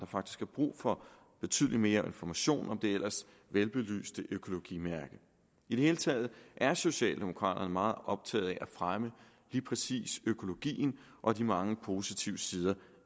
faktisk er brug for betydelig mere information om det ellers velbelyste økologimærke i det hele taget er socialdemokraterne meget optaget af at fremme lige præcis økologien og de mange positive sider